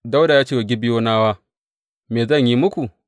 Dawuda ya ce wa Gibeyonawa, Me zan yi muku?